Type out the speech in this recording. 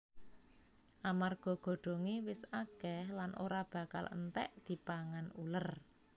Amarga godhongé wis akèh lan ora bakal entèk dipangan uler